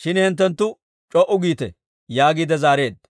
Shin hinttenttu c'o"u giite» yaagiide zaareedda.